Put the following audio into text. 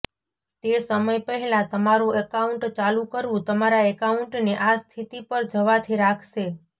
તે સમય પહેલાં તમારું એકાઉન્ટ ચાલુ કરવું તમારા એકાઉન્ટને આ સ્થિતિ પર જવાથી રાખશે